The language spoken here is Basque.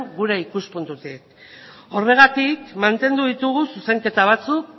gure ikuspuntutik horregatik mantendu ditugu zuzenketa batzuk